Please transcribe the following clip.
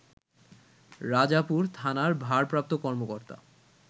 রাজাপুর থানার ভারপ্রাপ্ত কর্মকর্তা